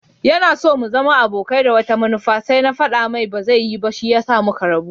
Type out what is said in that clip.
Yanaso mu zama abokai da wata manufa sai na faɗa mai baza yi ba shiyasa muka rabu.